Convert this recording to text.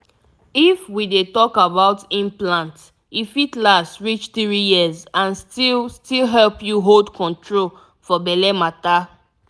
if we dey talk about implant e fit last reach three years and still still help you hold control for belle matter.